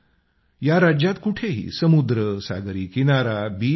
या राज्यात कुठंही समुद्र सागरी किनारा बीच नाही